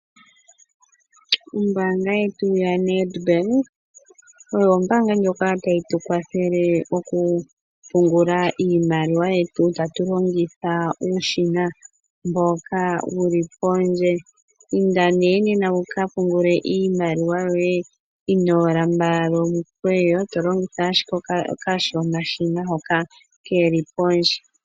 Ombaanga yetu ya Nedbank oyo ombaanga ndjoka tayi tu kwathele okupungula iimaliwa yetu tatu longitha uushina mboka wuli pondje. Inda nee nena wuka pungule iimaliwa yoye inoo lambalala omikweyo tolongitha ashike okashonashina hoka keli pondje.